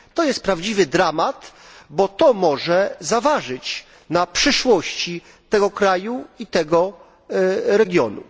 To jest prawdziwy dramat, bo to może zaważyć na przyszłości tego kraju i tego regionu.